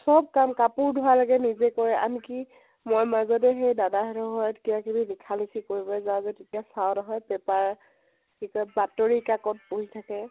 চব কাম কাপোৰ ধোৱা লৈকে নিজে কৰে, আনকি মই মাজতে সেই দাদা হেতৰ ঘৰত কিবা কিবি লিখা লিখি কৰিব যাও যে তেতিয়া চাও নহয় paper কি কয় বাতৰি কাকত পঢ়ি থাকে